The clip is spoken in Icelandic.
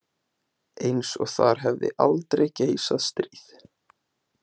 Eins og þar hefði aldrei geisað stríð.